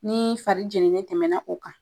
Ni fari jenini tɛmɛna o kan.